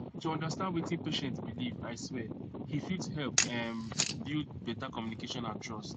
to understand wetin patient believe i swear he fit help ehm build better communication and trust